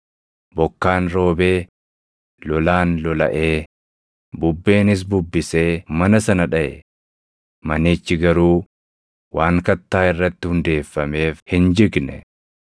Bokkaan roobee, lolaan lolaʼee, bubbeenis bubbisee mana sana dhaʼe; manichi garuu waan kattaa irratti hundeeffameef hin jigne.